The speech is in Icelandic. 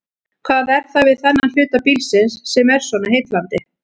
Hvað er það við þennan hluta bílsins sem er svona heillandi?